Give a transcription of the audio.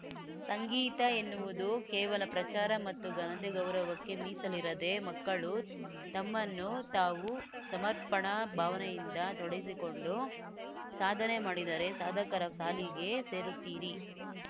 ಸಂಗೀತ ಎನ್ನುವುದು ಕೇವಲ ಪ್ರಚಾರ ಮತ್ತು ಘನತೆ ಗೌರವಕ್ಕೆ ಮೀಸಲಿರದೇ ಮಕ್ಕಳು ತಮ್ಮನ್ನು ತಾವು ಸಮರ್ಪಣಾ ಭಾವನೆಯಿಂದ ತೊಡಸಿಕೊಂಡು ಸಾಧನೆ ಮಾಡಿದರೆ ಸಾಧಕರ ಸಾಲಿಗೆ ಸೇರುತ್ತೀರಿ